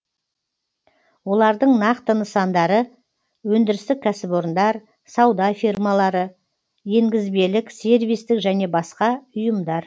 олардың нақты нысандары өндірістік кәсіпорындар сауда фирмалары енгізбелік сервистік және басқа ұйымдар